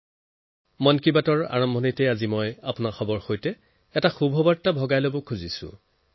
আজিৰ মন কী বাতৰ আৰম্ভণিতে মই আপোনালোকৰ সৈতে এটা ভাল খবৰ শ্বেয়াৰ কৰিব বিচাৰিছো